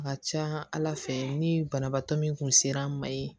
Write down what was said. A ka ca ala fɛ ni banabaatɔ min kun ser'an ma yen